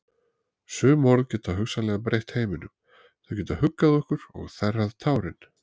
Sum orð geta hugsanlega breytt heiminum, þau geta huggað okkur og þerrað tárin.